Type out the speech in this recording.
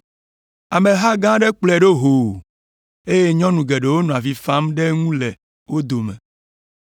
Ameha gã aɖe kplɔe ɖo hoo, eye nyɔnu geɖewo nɔ avi fam ɖe eŋu le wo dome.